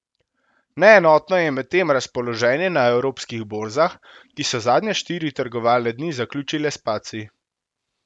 Neenotno je medtem razpoloženje na evropskih borzah, ki so zadnje štiri trgovalne dni zaključile s padci.